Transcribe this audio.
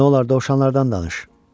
Nolar dovşanlardan danış.